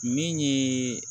Min ye